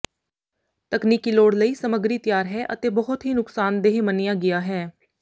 ਤਕਨੀਕੀ ਲੋੜ ਲਈ ਸਮੱਗਰੀ ਤਿਆਰ ਹੈ ਅਤੇ ਬਹੁਤ ਹੀ ਨੁਕਸਾਨਦੇਹ ਮੰਨਿਆ ਗਿਆ ਹੈ